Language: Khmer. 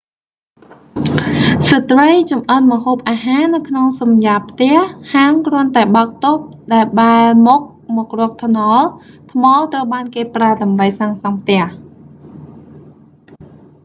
ស្រ្តីចម្អិនម្ហូបអាហារនៅក្នុងសំយ៉ាបផ្ទះ ហាងគ្រាន់តែបើកតូបដែលបែរមុខមករកថ្នល់ ថ្មត្រូវបានគេប្រើដើម្បីសាងសង់ផ្ទះ